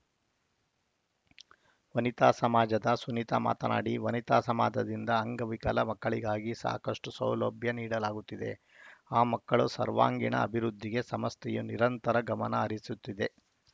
ವನಿತಾ ಸಮಾಜದ ಸುನೀತಾ ಮಾತನಾಡಿ ವನಿತಾ ಸಮಾಜದಿಂದ ಅಂಗವಿಕಲ ಮಕ್ಕಳಿಗಾಗಿ ಸಾಕಷ್ಟು ಸೌಲಭ್ಯ ನೀಡಲಾಗುತ್ತಿದೆ ಆ ಮಕ್ಕಳು ಸರ್ವಾಂಗೀಣ ಅಭಿವೃದ್ಧಿಗೆ ಸಂಸ್ಥೆಯು ನಿರಂತರ ಗಮನಹರಿಸುತ್ತಿದೆ